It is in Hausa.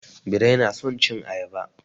Birai na son cin ayaba.